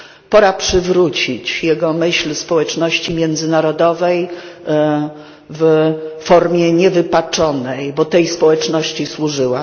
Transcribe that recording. Pora przywrócić jego myśl społeczności międzynarodowej w formie niewypaczonej, bo tej społeczności służyła.